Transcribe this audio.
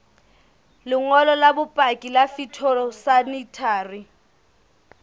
lengolo la bopaki la phytosanitary